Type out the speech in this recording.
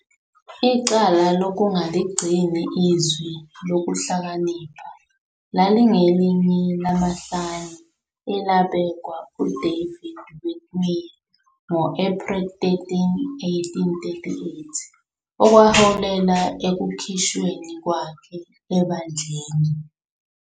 Icala "lokungaligcini iZwi Lokuhlakanipha" lalingelinye lamahlanu elabekwa uDavid Whitmer ngo-April 13, 1838, okwaholela ekukhishweni kwakhe ebandleni.